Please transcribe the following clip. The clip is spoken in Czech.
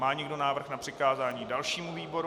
Má někdo návrh na přikázání dalšímu výboru?